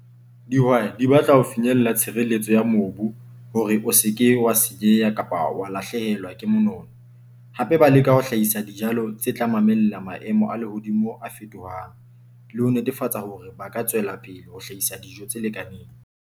Dihwai di batla ho finyella tshireletso ya mobu hore o se ke wa senyeha kapa wa lahlehelwa ke monono. Hape ba leka ho hlahisa dijalo tse tla mamella maemo a lehodimo a fetohang, le ho netefatsa hore ba ka tswela pele ho hlahisa dijo tse lekaneng.